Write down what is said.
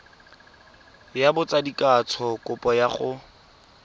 ya botsadikatsho kopo ya go